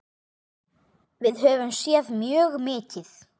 Við höfum séð mjög mikið.